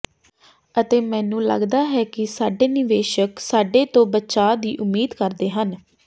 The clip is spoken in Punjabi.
ਅਤੇ ਮੈਨੂੰ ਲਗਦਾ ਹੈ ਕਿ ਸਾਡੇ ਨਿਵੇਸ਼ਕ ਸਾਡੇ ਤੋਂ ਬਚਾਅ ਦੀ ਉਮੀਦ ਕਰਦੇ ਹਨ